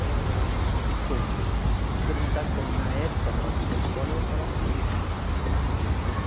Eh quer dizer, se perguntasse para mim na época, na hora de ir para a escola, eu ia falar que que pena, né?